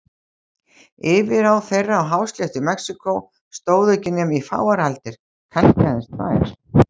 Yfirráð þeirra á hásléttu Mexíkó stóðu ekki nema í fáar aldir, kannski aðeins tvær.